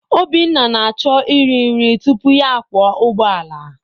Obinna na-achọ iri nri tupu ya akwọ ụgbọala.